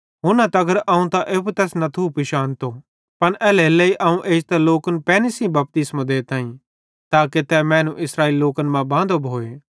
हुन्ना तगर अवं त एप्पू भी तैस पिशानतो न थियो पन एल्हेरेलेइ अवं इड़ी एजतां लोकन पैनी सेइं बपतिस्मो देताईं ताके तै मैनू इस्राएलेरे लोकन मां बांदो भोए